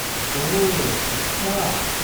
ओह अच्छा।